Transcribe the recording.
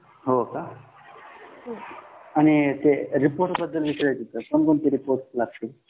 हो का आणि ते अहवालबद्दल विचारायच होता कोण कोण ती अहवाल लागतील